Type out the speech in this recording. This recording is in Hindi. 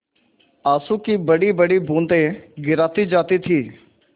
आँसू की बड़ीबड़ी बूँदें गिराती जाती थी